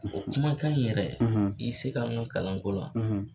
O kumakan in yɛrɛ i y'i se kɛ an ka kalanko la